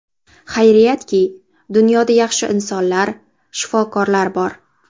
Xayriyatki, dunyoda yaxshi insonlar, shifokorlar bor.